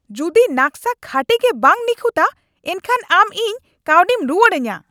ᱡᱩᱫᱤ ᱱᱟᱠᱥᱟ ᱠᱷᱟᱹᱴᱤ ᱜᱮ ᱵᱟᱝ ᱱᱤᱠᱷᱩᱛᱼᱟ, ᱮᱱᱠᱷᱟᱱ ᱟᱢ ᱤᱧ ᱠᱟᱹᱣᱰᱤᱢ ᱨᱩᱣᱟᱹᱲ ᱟᱧᱟ ᱾